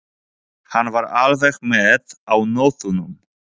Hann var alveg með á nótunum.